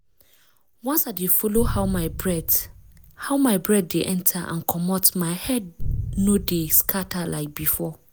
once i dey follow how my breath how my breath dey enter and comot my head no dey scatter like before.